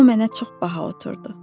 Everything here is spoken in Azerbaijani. O mənə çox baha oturdu.